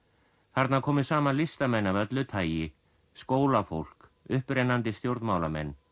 þarna komu saman listamenn af öllu tagi skólafólk upprennandi stjórnmálamenn